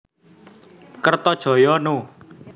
Kertajaya No